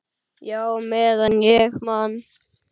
Já, meðan ég man.